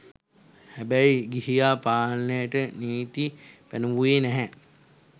හෑබෑයි ගිහියා පාලනයට නීති පෑනෑවුයේ නෑහෑ